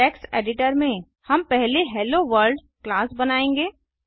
text editor में हम पहले हेलोवर्ल्ड क्लास बनाएंगे